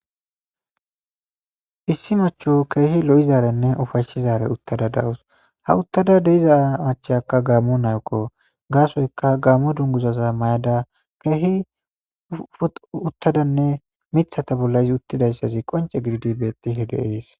issi macho keehi lo7izaarenne ufayshizare uttada dawus ha uttada de'iza machyakka gaamo nakko gaasoyka gaammo dunguzaza may7ada keehi uttadanne mithata bolla isi uttidayssazi qonce gidid betishe de'ees